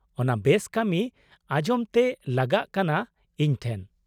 -ᱚᱱᱟ ᱵᱮᱥ ᱠᱟᱹᱢᱤ ᱟᱡᱚᱢ ᱛᱮ ᱞᱟᱜᱟᱜ ᱠᱟᱱᱟ ᱤᱧ ᱴᱷᱮᱱ ᱾